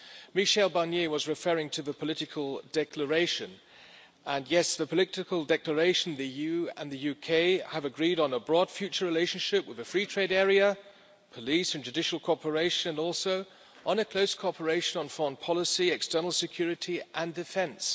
Michel Barnier was referring to the political declaration and, yes, in the political declaration the EU and the UK have agreed on a broad future relationship with a free trade area, police and judicial cooperation, and close cooperation on foreign policy, external security and defence.